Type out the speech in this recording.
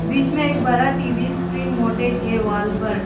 बीच में एक बड़ा टी_वी स्क्रीन मोटेज है वॉल पर।